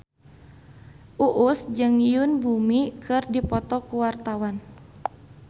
Uus jeung Yoon Bomi keur dipoto ku wartawan